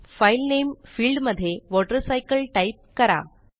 file name field मध्येWaterCycle type करा